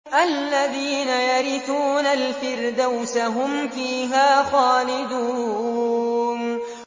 الَّذِينَ يَرِثُونَ الْفِرْدَوْسَ هُمْ فِيهَا خَالِدُونَ